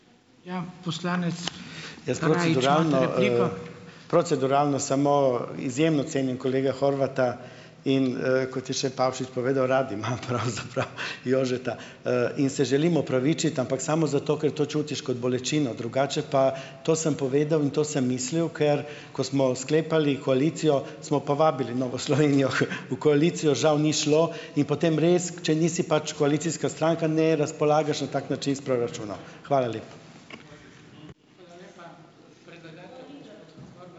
Proceduralno samo. Izjemno cenim kolega Horvata in, kot je še Pavšič povedal, rabimo pravzaprav Jožeta, in se želim opravičiti, ampak samo zato, ker to čutiš kot bolečino. Drugače pa, to sem povedal in to sem mislil, ker ko smo sklepali koalicijo, smo povabili Novo Slovenijo v koalicijo, žal ni šlo in potem res, če nisi pač koalicijska stranka, ne razpolagaš na tak način s proračunom. Hvala lepa.